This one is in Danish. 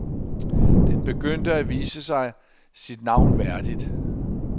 Den begyndte at vise sig sit navn værdigt.